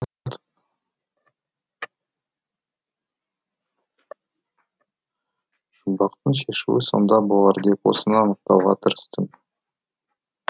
жұмбақтың шешуі сонда болар деп осыны анықтауға тырыстым